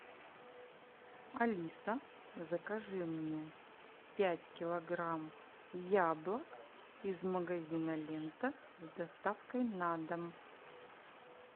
алиса закажи мне пять килограмм яблок из магазина лента с доставкой на дом